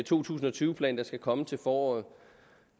tusind og tyve plan der skal komme til foråret